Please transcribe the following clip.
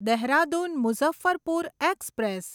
Dehradun Muzaffarpur express